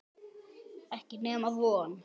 Ekki nema von.